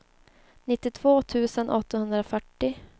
nittiotvå tusen åttahundrafyrtio